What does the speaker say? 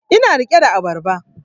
Ina rike da abarba